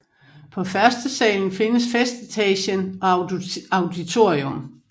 På førstesalen findes festetagen og auditorium